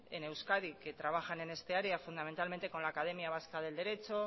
en euskadi que trabajan en esta área fundamentalmente con la academia vasca del derecho